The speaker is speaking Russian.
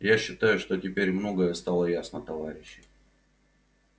я считаю что теперь многое стало ясно товарищи